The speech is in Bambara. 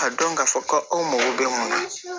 Ka dɔn k'a fɔ ko aw mago bɛ mun na